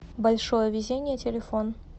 большое везение телефон